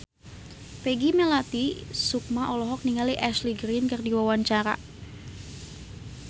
Peggy Melati Sukma olohok ningali Ashley Greene keur diwawancara